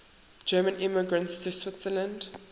german immigrants to switzerland